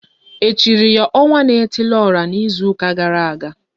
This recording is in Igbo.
E chiri ya *Ọnwa na etili ora" n'izuka gara aga?